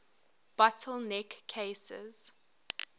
bottle neck cases